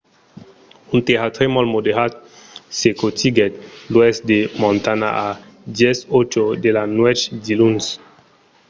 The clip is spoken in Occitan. un tèrratremol moderat secotiguèt l'oèst de montana a 10:08 de la nuèch diluns